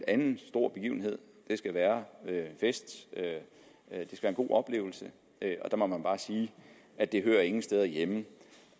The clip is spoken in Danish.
anden stor begivenhed skal være en fest og en god oplevelse der må man bare sige at det hører ingen steder hjemme